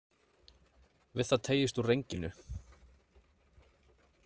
Við það teygist úr renginu.